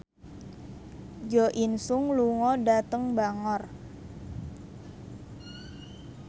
Jo In Sung lunga dhateng Bangor